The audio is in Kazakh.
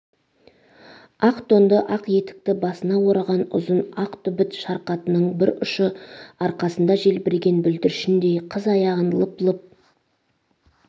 ақ тонды ақ етікті басына ораған ұзын ақ түбіт шарқатының бір ұшы арқасында желбіреген бүлдіршіндей қыз аяғын лып-лып